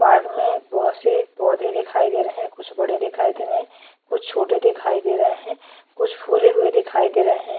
Park में बहुत से पौधे दिखाई दे रहे है कुछ बड़े दिखाई दे रहे है कुछ छोटे दिखाई दे रहे है कुछ फूले हुए दिखाई दे रहे है।